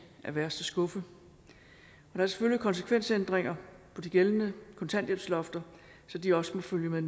af værste skuffe og der er selvfølgelig konsekvensændringer for de gældende kontanthjælpslofter så de også må følge med